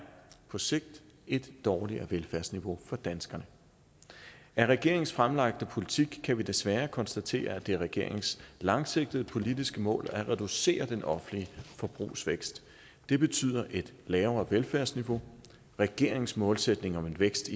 på sigt et dårligere velfærdsniveau for danskerne af regeringens fremlagte politik kan vi desværre konstatere at det er regeringens langsigtede politiske mål at reducere den offentlige forbrugsvækst det betyder et lavere velfærdsniveau regeringens målsætning om en vækst